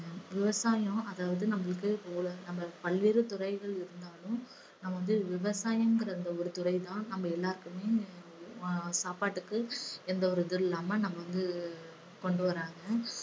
விவசாயம் அதாவது நம்மளுக்கு ஒரு நம்ம பல்வேறு துறைகள் இருந்தாலும் நம்ம வந்து விவசாயங்கிற அந்த ஒரு துறை தான் நம்ம எல்லாருக்குமே ஆஹ் சாப்பாட்டுக்கு எந்த ஒரு இதுவும் இல்லாம நம்ம வந்து கொண்டு வராங்க.